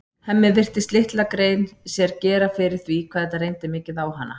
Hemmi virtist litla grein gera sér fyrir því hvað þetta reyndi mikið á hana.